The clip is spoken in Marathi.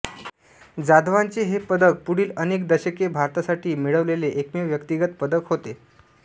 जाधवांचे हे पदक पुढील अनेक दशके भारतासाठी मिळवलेले एकमेव व्यक्तिगत पदक होते